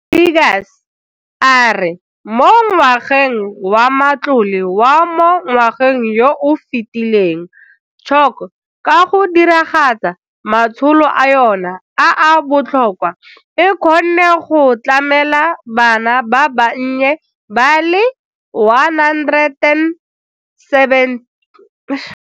Seegers a re mo ngwageng wa matlole wa mo ngwageng yo o fetileng CHOC ka go diragatsa matsholo a yona a a botlhokwa e kgonne go tlamela bana ba bannye ba le 1 724 ka ditirelo, ya tlamela bana ba ba godileng nyana ba le 553 mmogo le batho ba bagolo ba le 2 232.